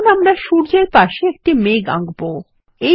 এখন আমরা সূর্য এর পাশে একটি মেঘ আঁকবো